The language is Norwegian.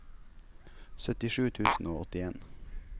syttisju tusen og åttien